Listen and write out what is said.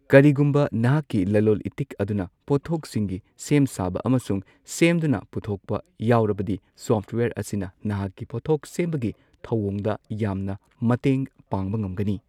ꯀꯔꯤꯒꯨꯝꯕ ꯅꯍꯥꯛꯀꯤ ꯂꯂꯣꯜ ꯏꯇꯤꯛ ꯑꯗꯨꯅ ꯄꯣꯠꯊꯣꯛꯁꯤꯡꯒꯤ ꯁꯦꯝꯁꯥꯕ ꯑꯃꯁꯨꯡ ꯁꯦꯝꯗꯨꯅ ꯄꯨꯊꯣꯛꯄ ꯌꯥꯎꯔꯕꯗꯤ, ꯁꯣꯐꯋꯦꯌꯔ ꯑꯁꯤꯅ ꯅꯍꯥꯛꯀꯤ ꯄꯣꯠꯊꯣꯛ ꯁꯦꯝꯕꯒꯤ ꯊꯧꯑꯣꯡꯗ ꯌꯥꯝꯅ ꯃꯇꯦꯡ ꯄꯥꯡꯕ ꯉꯝꯒꯅꯤ꯫